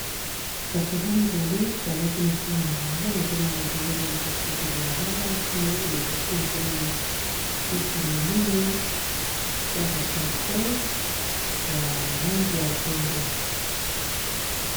basoda mibale balati ba uniforme na bango nazomona bazali na katikati ya balabala kuna liboso nazomona bisi ya monene esalaka transport ya langi ya pembe.